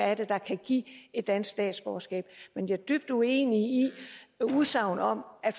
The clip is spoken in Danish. er der kan give et dansk statsborgerskab men jeg er dybt uenig i udsagnet om at